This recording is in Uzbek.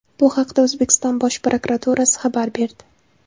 Bu haqda O‘zbekiston Bosh prokuraturasi xabar berdi .